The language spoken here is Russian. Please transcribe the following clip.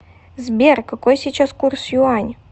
сбер какой сейчас курс юань